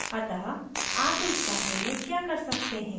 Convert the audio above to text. अतः आप इस बारे में क्या कर सकते हैं